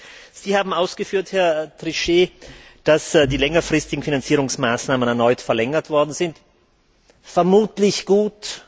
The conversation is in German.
Trotzdem, Sie haben ausgeführt, Herr Trichet, dass die längerfristigen Finanzierungsmaßnahmen erneut verlängert worden sind. Vermutlich gut.